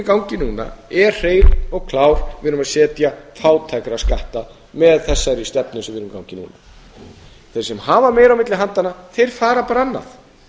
í gangi núna er hrein og klár við erum að setja fátæktarskatta með þessari stefnu sem við erum með í gangi núna þeir sem hafa meira á milli handanna þeir fara bara annað